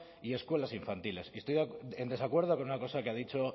y escuelas infantiles y estoy en desacuerdo con una cosa que ha dicho